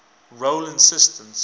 role instance